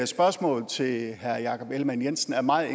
spørgsmål til herre jakob ellemann jensen er meget